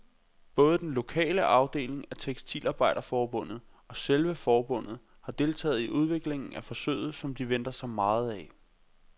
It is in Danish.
Både den lokale afdeling af tekstilarbejderforbundet og selve forbundet har deltaget i udviklingen af forsøget, som de venter sig meget af.